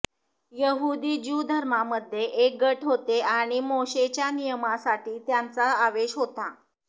यहुदी ज्यू धर्मांमध्ये एक गट होते आणि मोशेच्या नियमासाठी त्यांचा आवेश होता